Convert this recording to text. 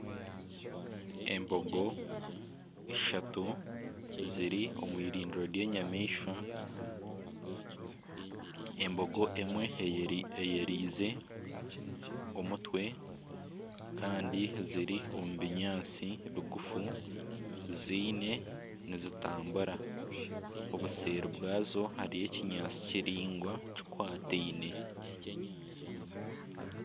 Embogo ishatu ziri omu eirindiro ry'enyamaishwa. Embogo emwe eyereize omutwe kandi ziri omu binyaatsi bigufu ziine nizitambura . Obuseeri bwazo hariyo ekinyaatsi kiraingwa kikwataine.